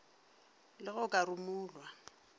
le ge o ka rumulwa